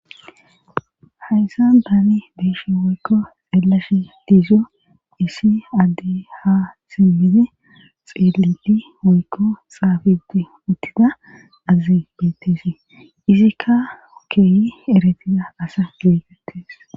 hayssan daani beeshe woykko xeelashe diizo issi addey ha simmidi xeeledi woykko xaafidi uttida azi beettesi izikka keeyi erettida asa geegattes